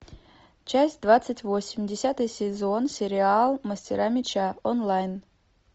часть двадцать восемь десятый сезон сериал мастера меча онлайн